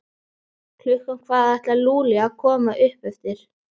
Klukkan hvað ætlaði Lúlli að koma upp eftir?